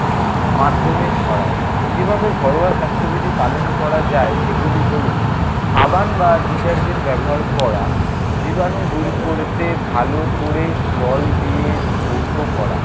মাধ্যমে ছড়ায়। সেভাবে ঘরোয়া স্বাস্থ্যবিধি পালন করা যায়, সেগুলি হলো সাবান বা detergent ব্যবহার করা। জীবাণু দূর করতে ভালো করে জল দিয়ে ধৌত করা।